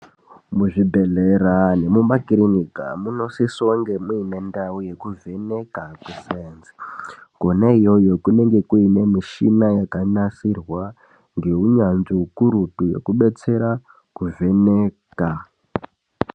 Muzvibhedhlera nemuakirinika munosisa kunge muine ndao yekuvheneka kweSainzi konaiyoyo kunonga kuine michina yakanasirwa ngeunyanzvi ukurutu wekubetsera kuvheneka .